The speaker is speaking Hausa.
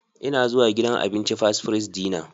Ina zuwa gidan abincin Fast Fries Dinner.